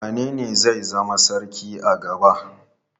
Wanene zai zama sarki na gaba?